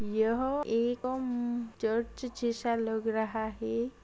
यह एक गम चर्च जैसा लग रहा हे।